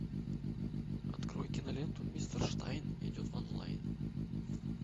открой киноленту мистер штайн идет в онлайн